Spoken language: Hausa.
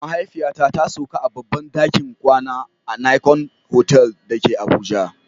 Mahaifiyata ta sauka a babban dakin kwana a Nicon Hotel da ke Abuja